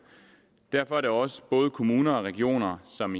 derfor er det også både kommuner og regioner som